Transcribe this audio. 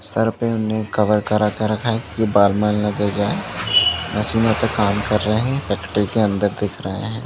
Sir पे उन्होंने cover करा के रखा है की बाल में न गिर जाये मशीन पर काम कर रहै है फैक्ट्री के अंदर दिख रहै है।